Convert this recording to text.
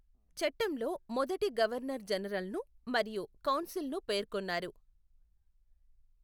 చట్టంలో మొదటి గవర్నర్ జనరల్ను మరియు కౌన్సిల్ను పేర్కొన్నారు.